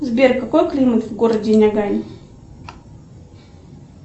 сбер какой климат в городе нягань